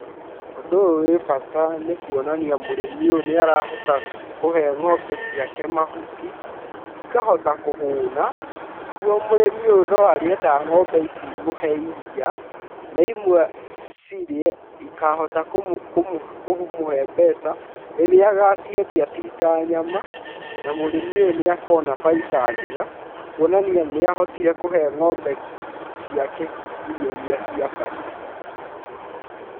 Ũndũ ũyũ wĩ bata nĩ kuonania mũrĩmi ũyũ nĩ arahota kũhe ng'ombe ciake mahuti, ikahota kũhũna nĩguo mũrĩmi ũyũ no arĩenda ng'ombe ici imũhe iria na imwe cirĩe ikahota kũmũhe mbeca rĩrĩa agaciendia ciĩ ta nyama na mũrĩmi ũyũ nĩ akona baita njega, kuonania nĩ ahotire kũhe ng'ombe ciake irio iria ciabatiĩ.